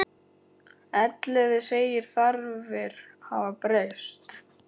Elliði segir þarfir hafa breyst.